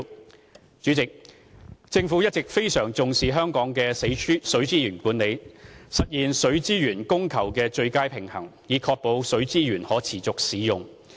代理主席，政府一直非常重視香港的水資源管理，致力實現水資源供求的最佳平衡，以確保水資源可持續使用。